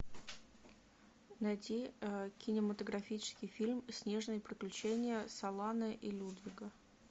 найти кинематографический фильм снежные приключения солана и людвига